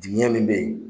Dingɛ min bɛ yen